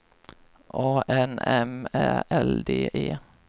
A N M Ä L D E